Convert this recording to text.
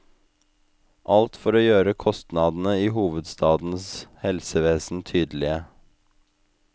Alt for å gjøre kostnadene i hovedstadens helsevesen tydelige.